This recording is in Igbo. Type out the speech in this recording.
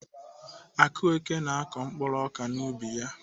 Akueke na-akọ mkpuru ọka n'ubi ya.